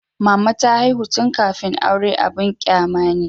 Mama ta haihu tun kafin aure abin kyama ne.